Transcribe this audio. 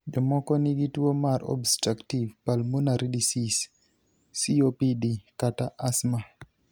Jomoko nigi tuwo mar obstructive pulmonary disease (COPD) kata asthma.